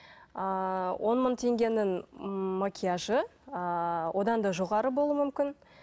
ыыы он мың теңгенің ммм макияжы ыыы одан да жоғары болу мүмкін